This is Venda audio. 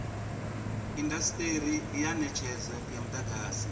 indasiteri ya netshedzo ya mudagasi